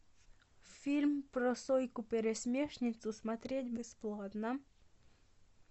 фильм про сойку пересмешницу смотреть бесплатно